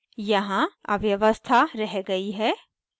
यहाँ अव्यवस्था रह गयी है